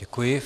Děkuji.